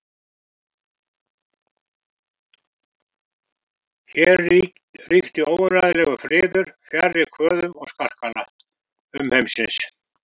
Hér ríkti óumræðilegur friður fjarri kvöðum og skarkala umheimsins.